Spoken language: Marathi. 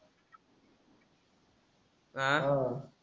आह